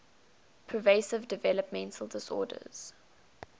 pervasive developmental disorders